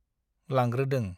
लांग्रोदों ।